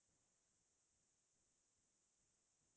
জোনখন চাগে সকলোৰে প্ৰিয়